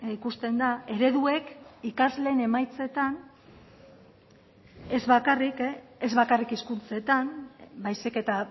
ikusten da ereduek ikasleen emaitzetan ez bakarrik hizkuntzetan baizik eta